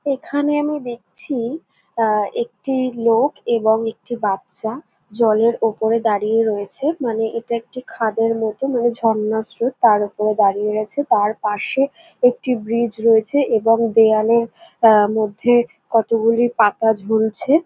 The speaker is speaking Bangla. এখানে আমি দেখছি আহ একটি লোক এবং একটি বাচ্চা জলের ওপরে দাঁড়িয়ে রয়েছে মানে এটি একটি খাদের মতন এবং একটি ঝর্ণার স্রোত তার ওপরে দাঁড়িয়ে গেছে তার পাশে একটি ব্রিজ রয়েছে এবং দেওয়ালের মধ্যে কতগুলি পাতা ঝুলছে।